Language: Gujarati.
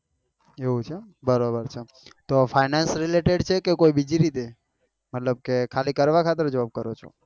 એવું છે બરોબર તો ક finance related છેકે બીજી રીતે મતલબ કે કરવા ખાતર કરો છો?